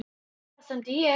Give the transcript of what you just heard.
Þangað stefndi ég.